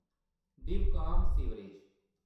डीव.काम.सीवरैज